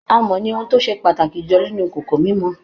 Amọ̀ ni ohun tó ṣe pàtàkì jùlọ ninú ìkòkò mímọ